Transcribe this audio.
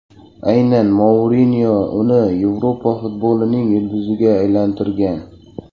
Aynan Mourinyo uni Yevropa futbolining yulduziga aylantirgan.